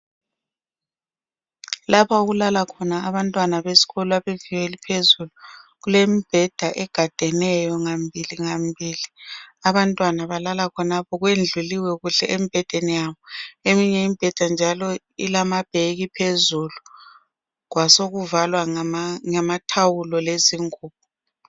Lapha okulala khona abantwana beskolo abezinga eliphezulu kulemibheda egadeneyo ngamibili ngamibili abantwana balala khonapho kwendluliwe kuhle embhedeni yabo eminye imibheda njalo ilamabheki phezulu kwasekuvalwa ngamathawulo lezingubo.